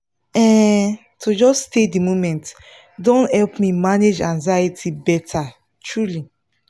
um to just stay the moment don help me manage anxiety better truely